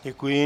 Děkuji.